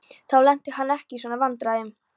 Þá lenti hún ekki í svona vandræðum.